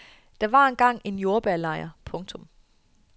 Der var engang en jordbærlejr. punktum